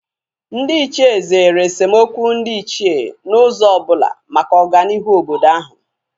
Ndị Ichie zere esemokwu ndị Ichie n'ụzọ ọbụla maka ọganihu obodo ahu